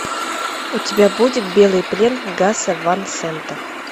у тебя будет белый плен гаса ван сента